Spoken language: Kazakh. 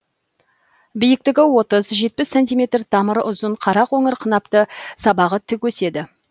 биіктігі отыз жетпіс сантиметр тамыры ұзын қара қоңыр қынапты сабағы тік өседі